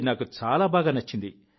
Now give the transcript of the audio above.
ఇది నాకు చాలా బాగా నచ్చింది